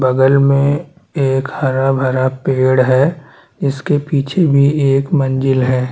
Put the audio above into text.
बगल में एक हरा-भरा पेड़ है इसके पीछे भी एक मंज़िल है।